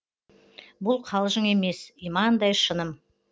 бұл қалжың емес имандай шыным